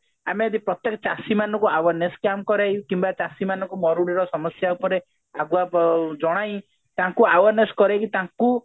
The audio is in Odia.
ଆମେ ଯଦି ପ୍ରତ୍ୟକ ଚାଷୀ ମାନଙ୍କୁ awareness plan କରେଇ କିମ୍ବା ଚାଷୀ ମାନଙ୍କୁ ମରୁଡ଼ିର ସମସ୍ଯା ଉପରେ ଆଗୁଆ ବ ଜଣାଇ ତାଙ୍କୁ awareness କରାଇ ତାଙ୍କୁ